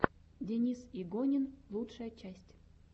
денис игонин лучшая часть